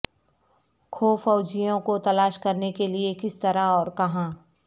کھو فوجیوں کو تلاش کرنے کے لئے کس طرح اور کہاں